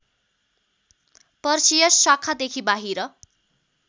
Perseus शाखादेखि बाहिर